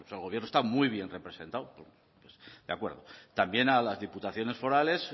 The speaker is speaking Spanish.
el gobierno está muy bien representado de acuerdo también a las diputaciones forales